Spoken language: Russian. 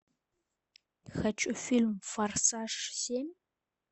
хочу фильм форсаж семь